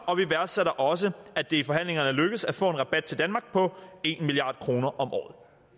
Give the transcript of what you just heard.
og vi værdsætter også at det i forhandlingerne er lykkedes at få en rabat til danmark på en milliard kroner om året